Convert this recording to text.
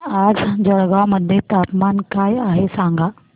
आज जळगाव मध्ये तापमान काय आहे सांगा